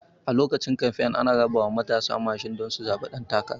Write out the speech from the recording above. A lokacin kamfen ana rabawa matasa mashina don su zaɓi ɗan takara